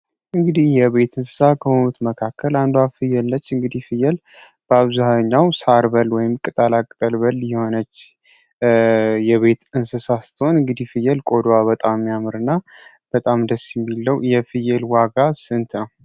እንግዲህ የቤት እንስሣ ከሆኑት መካከል አንዷ ፍየል ነች። እንግዲህ ፍየል በአብዛኛው ሳር በል ወይም ቅጠላቅጠል በል የሆነች የቤት እንስሳት ስትሆን፤ እንግዲህ ፍየል ቆዳዋ በጣም ያምርና በጣም ደስ የሚለው ነው። የፍየል ዋጋ ስንት ነው?